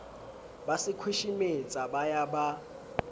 ba sekhweshemetsa ba ya ba